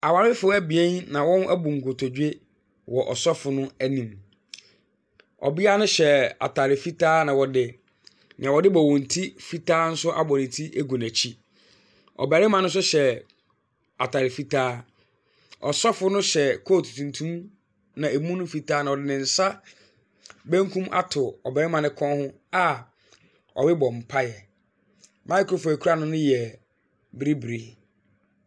Awarefoɔ ebien na wɔn abu nkotodwe wɔ ɔsofo no anim. Ɔbia no hyɛ ataade fitaa na ɔde nea ɔdebɔ wɔn ti fitaa nso abɔ ne ti agu n'akyi. Barima no nso hyɛ ataade fitaa. Ɔsofo no hyɛ coat tuntum na emu no fitaa no ɔde ne nsa benkum ato ɔbarima no kɔn ho a ɔrebɔ mpaeɛ. microphone a ekura no no yɛ biribiri.